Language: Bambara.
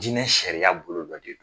Jinɛ jinɛ sariyaya bolo dɔ de do